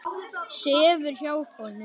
Sefur hjá honum.